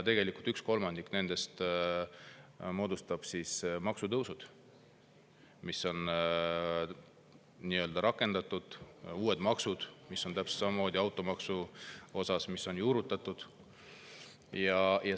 Tegelikult ühe kolmandiku sellest moodustavad maksutõusud, mis on rakendatud, ja uued maksud, täpselt samamoodi automaks, mis on juurutatud.